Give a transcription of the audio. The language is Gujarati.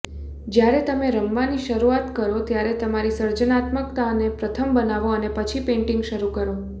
જ્યારે તમે રમવાની શરૂઆત કરો ત્યારે તમારી સર્જનાત્મકતાને પ્રથમ બનાવો અને પછી પેઇન્ટિંગ શરૂ કરો